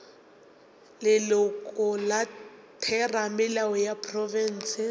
leloko la theramelao ya profense